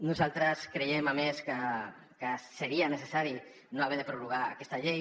nosaltres creiem a més que seria necessari no haver de prorrogar aquesta llei